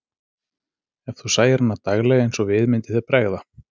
Ef þú sæir hana daglega eins og við, myndi þér bregða.